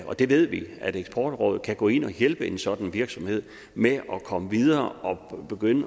og det ved vi at eksportrådet kan gå ind og hjælpe sådan en virksomhed med at komme videre og begynde